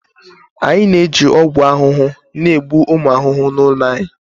Anyị na-eji ọgwụ ahụhụ na-egbu ụmụ ahụhụ n'ụlọ anyị